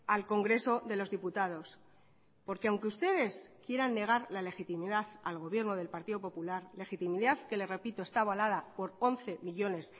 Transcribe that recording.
al congreso de los diputados porque aunque ustedes quieran negar la legitimidad al gobierno del partido popular legitimidad que le repito está avalada por once millónes